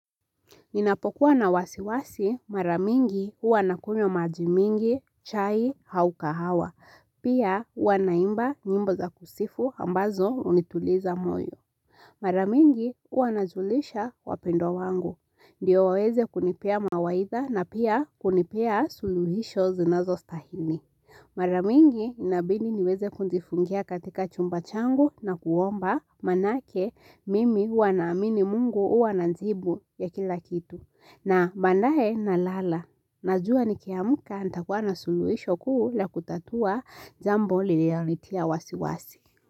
Ninapokuwa na wasiwasi mara mingi huwa nakunywa maji mingi, chai, au kahawa. Pia huwa naimba nyimbo za kusifu ambazo hunituliza moyo. Mara mingi, huwanajulisha wapendwa wangu. Ndio waweze kunipea mawaidha na pia kunipea suluhisho zinazostahili. Mara mingi inabindi niweze kujifungia katika chumba changu na kuomba maanake mimi huwa namini mungu huwa na jibu ya kila kitu. Na baadaye na lala. Najua ni kiamuka nitakuwa na suluhisho kuu la kutatua jambo lililonitia wasi wasi.